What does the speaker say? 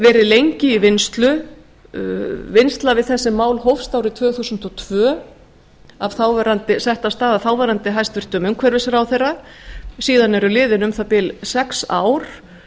verið lengi í vinnslu vinnsla við þessi mál hófst árið tvö þúsund og tvö sett af stað af stað af þáverandi hæstvirtur umhverfisráðherra síðan eru liðin um það bil sex ár